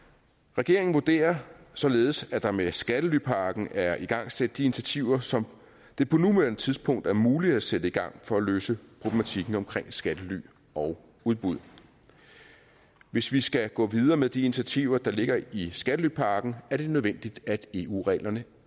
regeringen vurderer således at der med skattelypakken er igangsat de initiativer som det på nuværende tidspunkt er muligt at sætte i gang for at løse problematikken omkring skattely og udbud hvis vi skal gå videre med de initiativer der ligger i skattelypakken er det nødvendigt at eu reglerne